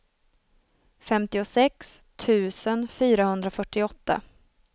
femtiosex tusen fyrahundrafyrtioåtta